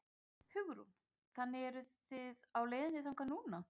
Hugrún: Þannig eruð þið á leiðinni þangað núna?